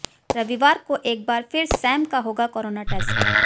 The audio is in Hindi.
रविवार को एक बार फिर सैम का होगा कोरोना टेस्ट